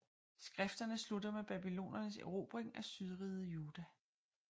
Skrifterne slutter med babylonernes erobring af Sydriget Juda